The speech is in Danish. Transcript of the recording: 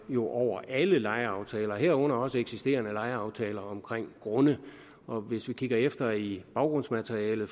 jo over alle lejeaftaler herunder også eksisterende lejeaftaler om grunde og hvis vi kigger efter i baggrundsmaterialet